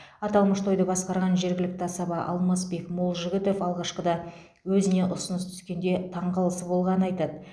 аталмыш тойды басқарған жергілікті асаба алмасбек молжігітов алғашқыда өзіне ұсыныс түскенде таңғалысы болғаны айтады